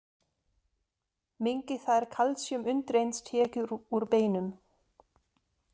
Minnki það er kalsíum undireins tekið úr beinum.